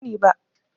Ban sani ba.